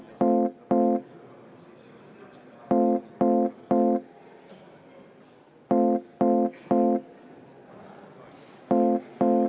V a h e a e g